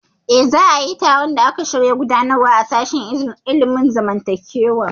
Eh, za a yi taron da aka shirya gudanarwa a sashen ilimin zamantakewa